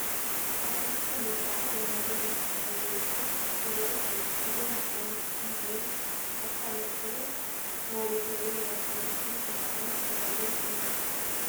ሓደሽቲ ምልኩዓት ወናብር ምስ ጠረጴዝኦም ይርአዩ ኣለዉ፡፡ እዞም ናውቲ ወይ ካብታ መኪና ዝወረዱ ወይ ናብታ መኪና ክፀዓኑ ዝተዳለዉ እዮም ዝመስሉ፡፡